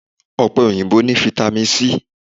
Ọ̀pẹ òyìnbó o ní fitamì c.